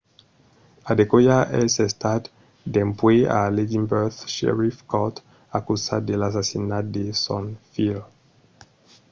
adekoya es estat dempuèi a l'edinburgh sheriff court acusat de l'assassinat de son filh